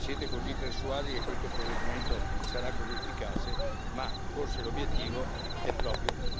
Siete così persuasi che questo provvedimento sarà così efficace, ma forse l'obiettivo è proprio